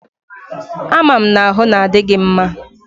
A ma'm na-ahu na adi gi mma?